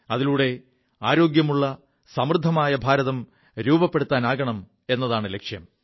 അതിലൂടെ ആരോഗ്യമുള്ള സമൃദ്ധമായ ഭാരതം സൃഷ്ടിക്കുക എതാണു ലക്ഷ്യം